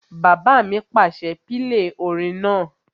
Bàbá mi pàṣẹ, "pílè orin náà!"